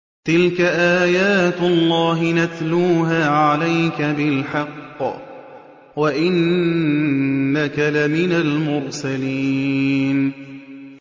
تِلْكَ آيَاتُ اللَّهِ نَتْلُوهَا عَلَيْكَ بِالْحَقِّ ۚ وَإِنَّكَ لَمِنَ الْمُرْسَلِينَ